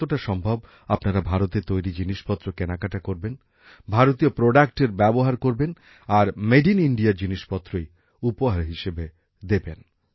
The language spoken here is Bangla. যতটা সম্ভব আপনারা ভারতে তৈরি জিনিসপত্র কেনাকাটা করবেন ভারতীয় সামগ্রীর ব্যবহার করবেন আর মেড ইন ইন্ডিয়া জিনিসপত্রই উপহার হিসেবে দেবেন